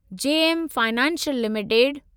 JM financial limited